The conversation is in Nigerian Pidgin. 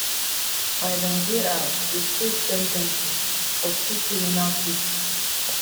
biden jr dey face sen ten cing for two criminal cases